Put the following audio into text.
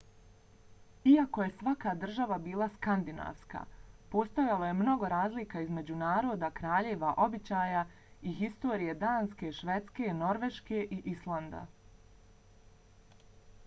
iako je svaka država bila skandinavska postojalo je mnogo razlika između naroda kraljeva običaja i historije danske švedske norveške i islanda